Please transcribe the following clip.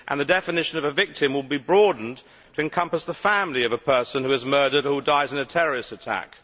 The definition of a victim will also be broadened to encompass the family of a person who is murdered or who dies in a terrorist attack.